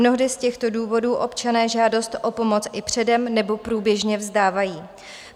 Mnohdy z těchto důvodů občané žádost o pomoc i předem nebo průběžně vzdávají.